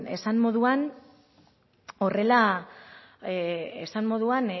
esan moduan horrela esan moduan